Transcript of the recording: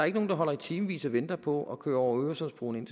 ikke nogen der holder i timevis og venter på at køre over øresundsbroen ind